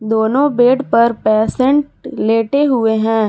दोनों बेड पर पेशेंट लेटे हुए हैं।